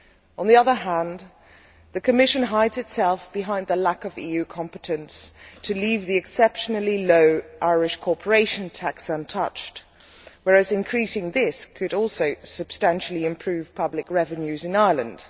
On the other hand, the Commission hides itself behind the lack of EU competence to leave the exceptionally low Irish corporation tax untouched, whereas increasing this could also substantially improve public revenues in Ireland.